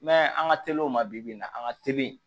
I m'a ye an ka teli o ma bi-bi na a ka teli